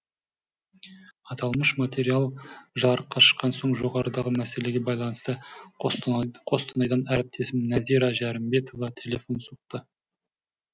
аталмыш материал жарыққа шыққан соң жоғарыдағы мәселеге байланысты қостанайдан әріптесім нәзира жәрімбетова телефон соқты